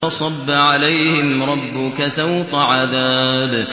فَصَبَّ عَلَيْهِمْ رَبُّكَ سَوْطَ عَذَابٍ